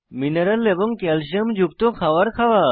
মিনরল এবং ক্যালসিয়াম যুক্ত খাওয়ার খাওয়া